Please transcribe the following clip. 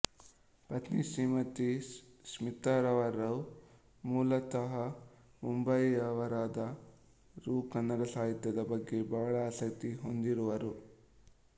ಪತ್ನಿ ಶ್ರೀಮತಿ ಸ್ಮಿತರವರು ಮೂಲತಃ ಮುಂಬಯಿಯವರಾದರೂ ಕನ್ನಡ ಸಾಹಿತ್ಯದ ಬಗ್ಗೆ ಬಹಳ ಆಸಕ್ತಿ ಹೊಂದಿರುವರು